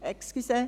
Entschuldigung.